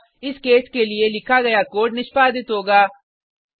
अतः इस केस के लिए लिखा गया कोड निष्पादित होगा